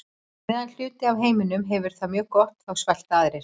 Á meðan hluti af heiminum hefur það mjög gott þá svelta aðrir.